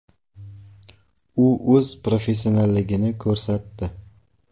U o‘z professionalligini ko‘rsatdi.